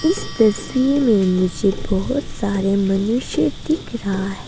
इस तस्वीर में मुझे बहुत सारे मनुष्य दिख रहा है।